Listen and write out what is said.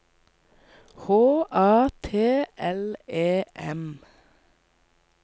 H A T L E M